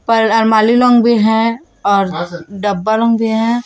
पर भी हैं और भी है।